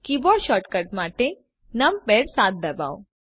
keyboard shortcut માટે numpad 7 ડબાઓ